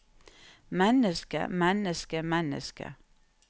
menneske menneske menneske